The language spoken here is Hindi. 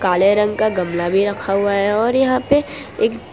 काले रंग का गमला भी रखा हुआ है और यहां पे एक --